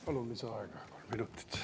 Palun lisaaega kolm minutit.